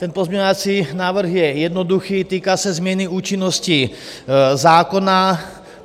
Ten pozměňovací návrh je jednoduchý, týká se změny účinnosti zákona.